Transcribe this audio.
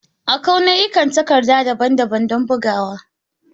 Akwai nau'ikan takarda daban-daban don bugawa.